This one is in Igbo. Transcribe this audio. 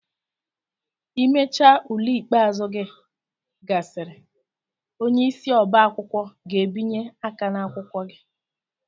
Imecha ule ikpeazụ gị gasịrị, onyeisi ọbá akwụkwọ ga-ebinye aka ná akwụkwọ gị.